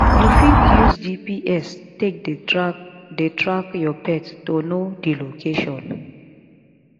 you fit use gps take dey track dey track your pet to know di location